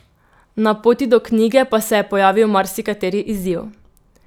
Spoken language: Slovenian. Na poti do knjige pa se je pojavil marsikateri izziv.